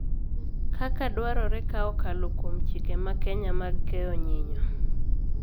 Kaka dwarore ka okalo kuom chike ma Kenya mag keyo nyinyo